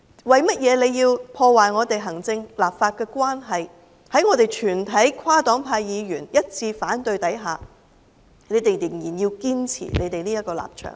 為何要破壞行政立法的關係，在我們全體跨黨派議員一致反對的情況下，仍然堅持這個立場呢？